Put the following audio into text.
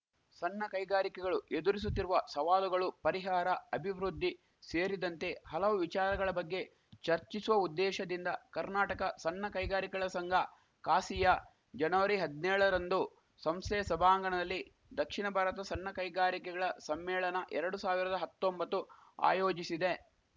ಸಣ್ಣ ಕೈಗಾರಿಕೆಗಳು ಎದುರಿಸುತ್ತಿರುವ ಸವಾಲುಗಳು ಪರಿಹಾರ ಅಭಿವೃದ್ಧಿ ಸೇರಿದಂತೆ ಹಲವು ವಿಚಾರಗಳ ಬಗ್ಗೆ ಚರ್ಚಿಸುವ ಉದ್ದೇಶದಿಂದ ಕರ್ನಾಟಕ ಸಣ್ಣ ಕೈಗಾರಿಕೆಗಳ ಸಂಘ ಕಾಸಿಯಾ ಜನವರಿ ಹದ್ನೇಳರಂದು ಸಂಸ್ಥೆಯ ಸಭಾಂಗಣದಲ್ಲಿ ದಕ್ಷಿಣ ಭಾರತ ಸಣ್ಣಕೈಗಾರಿಕೆಗಳ ಸಮ್ಮೇಳನ ಎರಡು ಸಾವಿರದ ಹತ್ತೊಂಬತ್ತು ಆಯೋಜಿಸಿದೆ